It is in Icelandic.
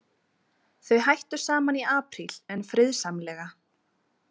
Þau hættu saman í apríl en friðsamlega.